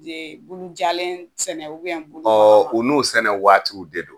Ee Bulujalen sɛnɛ bulu ubɛn ɔ o n'o sɛnɛ waati de don